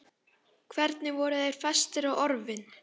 Hvernig voru þeir festir á orfin?